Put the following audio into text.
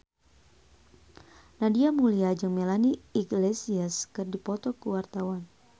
Nadia Mulya jeung Melanie Iglesias keur dipoto ku wartawan